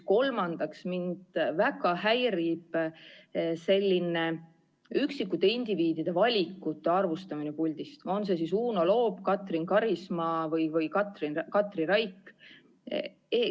Kolmandaks, mind väga häirib selline üksikute indiviidide valikute arvustamine puldist, on see siis Uno Loop, Katrin Karisma või Katri Raik.